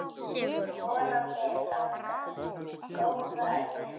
Vonandi langa, góða ævi.